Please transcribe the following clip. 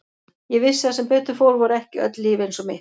Ég vissi að sem betur fór voru ekki öll líf eins og mitt.